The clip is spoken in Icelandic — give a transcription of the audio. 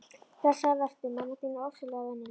Blessaður vertu, mamma þín er ofsalega venjuleg.